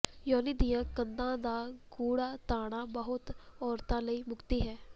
ਯੋਨੀ ਦੀਆਂ ਕੰਧਾਂ ਦਾ ਗੂੜ੍ਹਾ ਤਾਣਾ ਬਹੁਤ ਔਰਤਾਂ ਲਈ ਮੁਕਤੀ ਹੈ